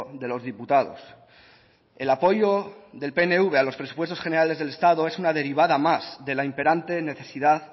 de los diputados el apoyo del pnv a los presupuestos generales del estado es una derivada más de la imperante necesidad